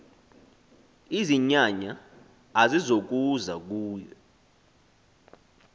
izinyanya azizokuza kuwe